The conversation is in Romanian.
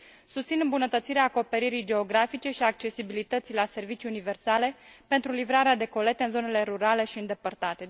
Susțin îmbunătățirea acoperirii geografice și accesibilității la servicii universale pentru livrarea de colete în zonele rurale și îndepărtate.